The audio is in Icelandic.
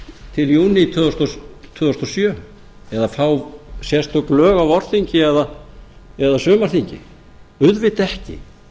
til júní tvö þúsund og sjö eða fá sérstök lög á vorþingi eða sumarþingi auðvitað ekki